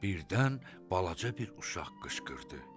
Birdən balaca bir uşaq qışqırdı: